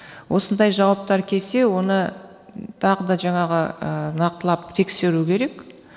осындай жауаптар келсе оны тағы да жаңағы нақтылап тексеру керек